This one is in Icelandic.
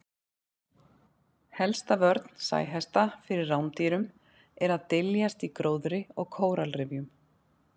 Helsta vörn sæhesta fyrir rándýrum er að dyljast í gróðri og kóralrifjum.